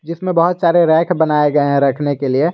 इसमें बहोत सारे रैक बनाए गए हैं रखने के लिए।